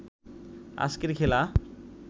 আজকের খেলা